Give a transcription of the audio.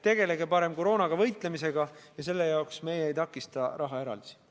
Tegelge parem koroona vastu võitlemisega ja selle jaoks me rahaeraldisi ei takista.